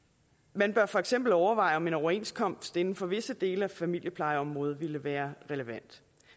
man bør for eksempel overveje om en overenskomst inden for visse dele af familieplejeområdet ville være relevant